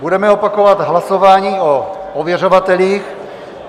Budeme opakovat hlasování o ověřovatelích.